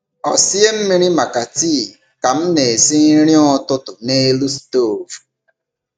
Ọ sie mmiri maka tii ka m na-esi nri ụtụtụ n’elu stovu.